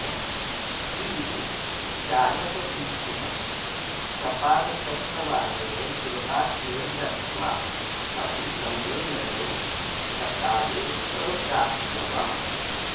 किन्तु चायः पीत्वा सपादसप्तवादने गृहात् निर्गत्वा अपि सम्मेलने सकाले अप्राप्नवम्